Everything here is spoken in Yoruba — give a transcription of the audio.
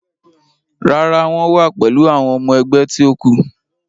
Rárá, wọ́n wa pẹ̀lú àwọn ọmọ ẹgbẹ́ ti ó kù.